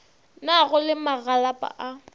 na go le magalapa a